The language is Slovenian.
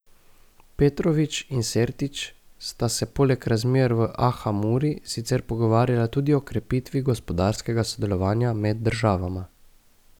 Petrovič in Sertić sta se poleg razmer v Aha Muri sicer pogovarjala tudi o krepitvi gospodarskega sodelovanja med državama.